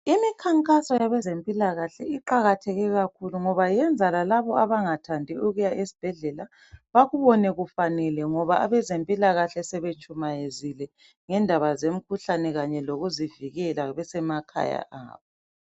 Imikhankaso yabezempilakahle iqakatheke kakhulu ngoba yenza lalabo abangathandi ukuya esibhedlela bakubone kufanele ngoba abezempilakahle sebetshumayezile ngendaba zemkhuhlane kanye lokuzivikela besemakhaya abo.